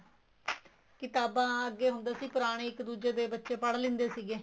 ਕ਼ਿਤਾਬਾਂ ਅੱਗੇ ਹੁੰਦਾ ਸੀ ਪੁਰਾਣੀ ਇੱਕ ਦੂਜੇ ਦੇ ਬੱਚੇ ਪੜ ਲਿੰਦੇ ਸੀਗੇ